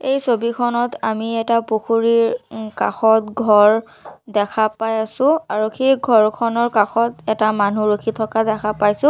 এই ছবিখনত আমি এটা পুখুৰীৰ কাষত ঘৰ দেখা পাই আছোঁ আৰু সেই ঘৰখনৰ কাষত এটা মানুহ ৰখি থকা দেখা পাইছোঁ।